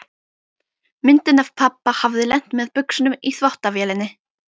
Myndin af pabba hafði lent með buxunum í þvottavélinni.